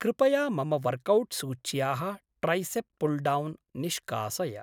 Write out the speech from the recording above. कृपया मम वर्कौट्सूच्याः ट्रैसेप् पुल्डौन् निष्कासय।